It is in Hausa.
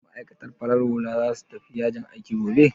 Ma'aikatan farar hula za su tafi yajin aiki gobe?